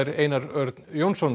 Einar Örn Jónsson